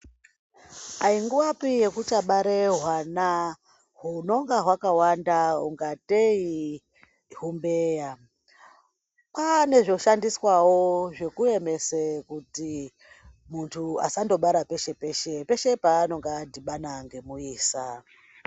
Ayi nguyapi yekuchabara hwana hwunenge hwaka wanda kungateyi imbeva kwava nezveku emesawo zvekuti muntu asangobara peshe peshe pshe paanonga adhibana nemuisa.